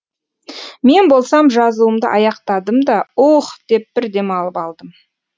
мен болсам жазуымды аяқтадым да уһ деп бір демалып қалдым